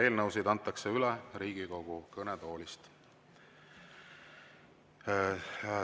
Eelnõusid antakse üle Riigikogu kõnetoolist.